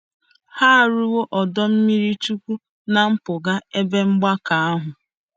Ha arụwo ọdọ ime mmiri chukwu ná mpụga ebe mgbakọ ahụ.